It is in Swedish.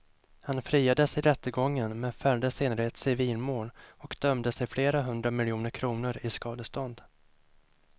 Han friades i rättegången men fälldes senare i ett civilmål och dömdes till flera hundra miljoner kronor i skadestånd.